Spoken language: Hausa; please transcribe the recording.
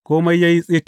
Kome ya yi tsit.